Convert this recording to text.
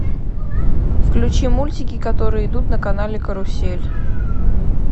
включи мультики которые идут на канале карусель